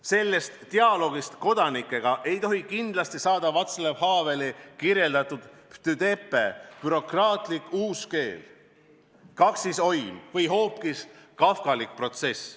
Sellest dialoogist kodanikega ei tohiks kindlasti saada Václav Haveli kirjeldatud "Ptydepe" – bürokraatlik uuskeel, kaksisoim või hoopis kafkalik protsess.